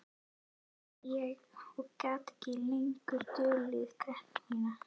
sagði ég og gat ekki lengur dulið gremjuna.